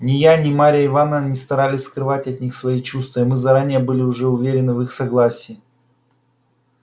ни я ни марья ивановна не старались скрывать от них свои чувства и мы заранее были уже уверены в их согласии